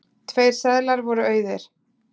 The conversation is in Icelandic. Tveir seðlar voru auðir.